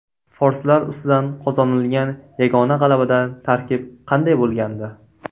Forslar ustidan qozonilgan yagona g‘alabada tarkib qanday bo‘lgandi?.